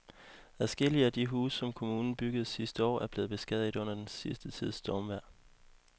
Adskillige af de huse, som kommunen byggede sidste år, er blevet beskadiget under den sidste tids stormvejr.